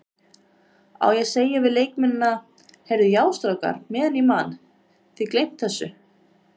Á ég að segja við leikmennina, Heyrðu já strákar meðan ég man, þið gleymt þessu?